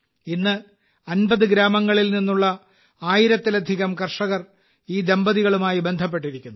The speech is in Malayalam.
ഇന്ന് 50 ഗ്രാമങ്ങളിൽ നിന്നുള്ള 1000ലധികം കർഷകർ ഈ ദമ്പതികളുമായി ബന്ധപ്പെട്ടിരിക്കുന്നു